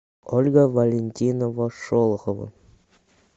ольга валентинова шолохова